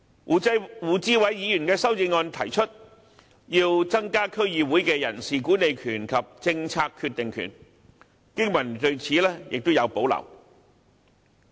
胡志偉議員的修正案提出增加區議會的人事管理權及政策決定權，經民聯對此有保留。